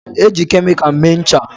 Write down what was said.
Eji kemịkal mee ncha.